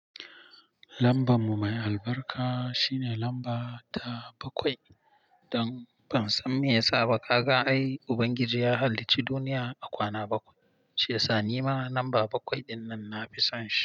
Lamban mu mai albarka shine lamba ta bakwai. Don ban san me ya saba ka ga ai Ubangiji ya halicci duniya a kwana bakwai, shi yasa ni ma lamba bakwai dinnan na fi son shi.